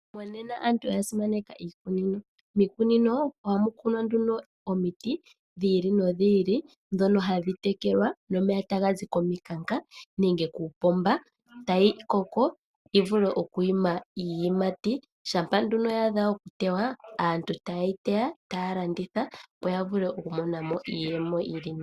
Monena aantu oyasimaneka iikunino, iikunino ohamu kunwa nduno omiti dhi ili nodhi ili, dhono hadhi tekelwa nomeya taga zi mominkanka nenge kokapomba etayi koko, dhivulithe oku ima iiyimati, shampa nduno yaadha okuteya aantu ohayeyi teya etaa landitha opo yavule okumona mo iiyemo yili nawa.